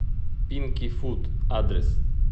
пинки фуд адрес